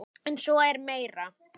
En svo er meira.